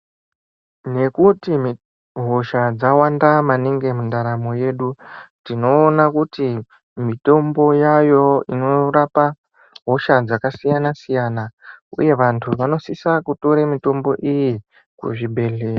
Nekuti hosha dzawanda maningi mundaramo yedu. Tinoona kuti mitombo yayovo inorapa hosha dzakasiyana-siyana, uye vantu vanosisa kutore mutombo iyi kuzvibhedhlera.